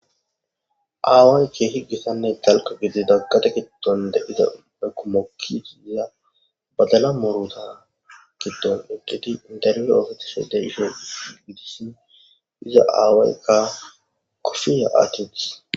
Aawaykke higgissanne dalko gidi daggate giddonde iza ekumokki iziya badala muruta giddon eggedi idarye oofatishodey isho gidissin iza aawaykka kofiya aachitis.